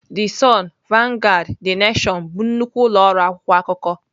The Sun, Vanguard, The Nation bụ nnukwu ụlọ ọrụ akwụkwọ akụkọ.